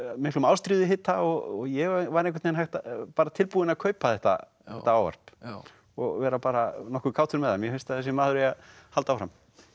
miklum ástríðuhita og ég var tilbúinn að kaupa þetta ávarp og vera bara nokkuð kátur með það mér finnst að þessi maður eigi að halda áfram